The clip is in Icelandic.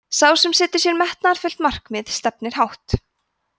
sá sem setur sér metnaðarfullt markmið stefnir hátt